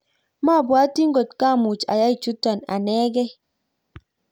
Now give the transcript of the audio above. mabwoti ngot kamuch ayai chuto anegei